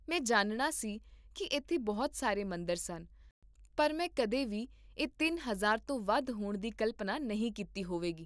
ਮੈਂ ਜਾਣਦਾ ਸੀ ਕੀ ਇੱਥੇ ਬਹੁਤ ਸਾਰੇ ਮੰਦਰ ਸਨ ਪਰ ਮੈਂ ਕਦੇ ਵੀ ਇਹ ਤਿੰਨ ਹਜ਼ਾਰ ਤੋਂ ਵੱਧ ਹੋਣ ਦੀ ਕਲਪਨਾ ਨਹੀਂ ਕੀਤੀ ਹੋਵੇਗੀ